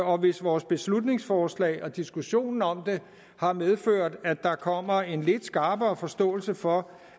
og hvis vores beslutningsforslag og diskussionen om det har medført at der kommer en lidt skarpere forståelse for